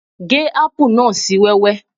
Gé ápù náà sì wẹ́wẹ́